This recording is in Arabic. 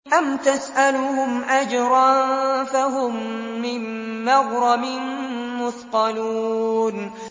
أَمْ تَسْأَلُهُمْ أَجْرًا فَهُم مِّن مَّغْرَمٍ مُّثْقَلُونَ